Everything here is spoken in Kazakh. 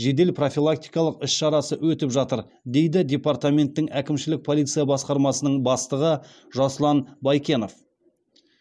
жедел профилактикалық іс шарасы өтіп жатыр дейді департаменттің әкімшілік полиция басқармасының бастығы жасұлан байкенов